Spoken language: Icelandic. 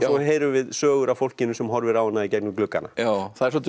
heyrum við sögur af fólkinu sem horfir á hana í gegnum gluggana það er svolítið